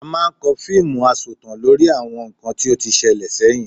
A máa ń kọ fíìmù asọ̀tàn lórí àwọn nǹkan tí ó ti ṣẹlẹ̀ sẹ́yìn